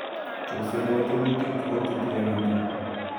Chorset nebo tebutik kokotutukenitun